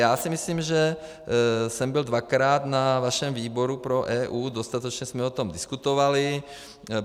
Já si myslím, že jsem byl dvakrát na vašem výboru pro EU, dostatečně jsme o tom diskutovali.